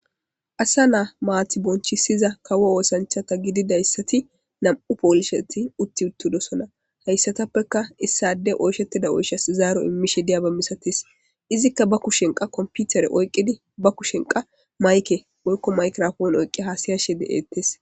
Asa naa maati bonchisiza kawo oosanchata gididayssati nam'u poolisheti utti uttidosona hayssatappeka issade oyshettida oyshasi zaaro immishe diyaba misatis izikka ba kushenqa komputere oyqqidi ba kushenqa mayke oykko maykrofon oyqqi haasiyashe de'ettes.